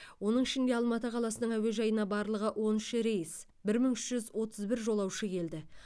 оның ішінде алматы қаласының әуежайына барлығы он үш рейс бір мың үш жүз отыз бір жолаушы келді